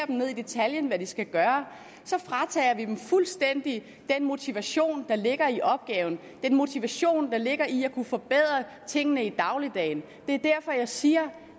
ned i detaljen at de skal gøre fratager vi dem fuldstændig den motivation der ligger i opgaven den motivation der ligger i at kunne forbedre tingene i dagligdagen det er derfor at jeg siger